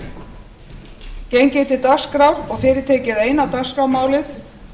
gengið er til dagskrár og fyrir tekið eina dagskrármálið